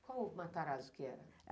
Qual o Matarazzo que era?